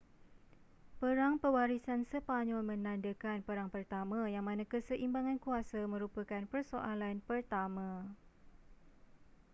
perang pewarisan sepanyol menandakan perang pertama yang mana keseimbangan kuasa merupakan persoalan pertama